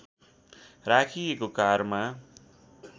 राखिएको कारमा